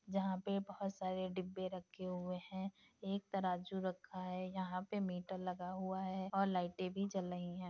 जहाँ पे बहुत सारे डिब्बे रखे हुए हैं एक तराज़ू रखा है यहाँ पे मीटर लगा हुआ है और लाइटें भी जल लई हैं।